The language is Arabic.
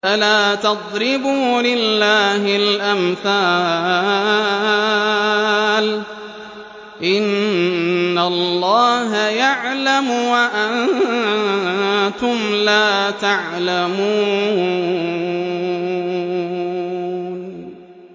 فَلَا تَضْرِبُوا لِلَّهِ الْأَمْثَالَ ۚ إِنَّ اللَّهَ يَعْلَمُ وَأَنتُمْ لَا تَعْلَمُونَ